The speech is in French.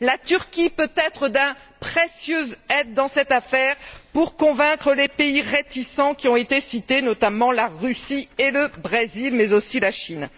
La Turquie peut être d'une aide précieuse dans cette affaire pour convaincre les pays réticents, qui ont été cités, notamment la Russie et le Brésil, mais aussi la Chine.